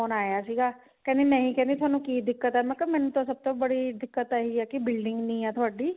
ਆਇਆ ਸੀਗਾ ਕਹਿੰਦੀ ਨਹੀਂ ਕਿ ਥੋਨੂੰ ਕੀ ਦਿੱਕਤ ਹੈ ਮੈਂ ਕਿਹਾ ਮੈਨੂੰ ਸਭ ਤੋਂ ਬੜੀ ਦਿੱਕਤ ਇਹੀ ਹੈ ਕਿ building ਨਹੀਂ ਹੈ ਤੁਹਾਡੀ